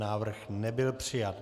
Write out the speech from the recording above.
Návrh nebyl přijat.